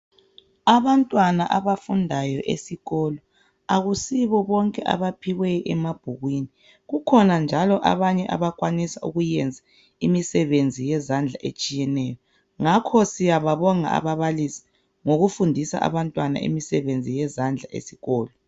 Abantwana abafundayo esikolo akusibo bonke abaphiwe emabhukwini. Kukhona njalo abanye abakwanisa ukuyenza imisebenzi yezandla etshiyeneyo ngakho siyababonga ababalisi ngokufundisa abantwana imisebenzi yezandla esikolo.